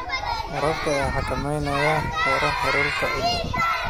Waraabka ayaa xakameyn kara heerkulka ciidda.